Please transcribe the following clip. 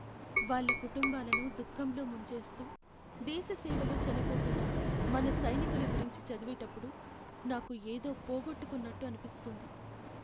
వాళ్ళ కుటుంబాలను దుఖంలో ముంచేస్తూ, దేశ సేవలో చనిపోతున్న మన సైనికుల గురించి చదివేటప్పుడు నాకు ఏదో పోగొట్టుకున్నట్టు అనిపిస్తుంది.